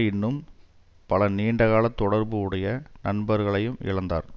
இன்னும் பல நீண்ட கால தொடர்பு உடைய நண்பர்களையும் இழந்தார்